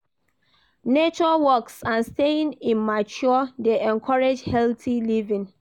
Nature walks and staying in mature dey encourage healthy living